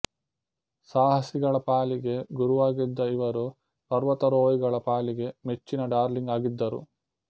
ಸಾಹಸಿಗಳ ಪಾಲಿಗೆ ಗುರುವಾಗಿದ್ದ ಇವರುಪರ್ವತಾರೋಹಿಗಳ ಪಾಲಿಗೆ ಮೆಚ್ಚಿನ ಡಾರ್ಲಿಂಗ್ ಆಗಿದ್ದರು